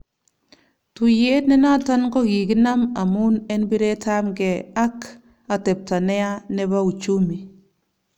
Tuyet ne naton kokikinam amun en piretap ng'e ak atepta neya nepouchumi